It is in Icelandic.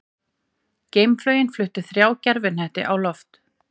Geimflaugin flutti þrjá gervihnetti á loft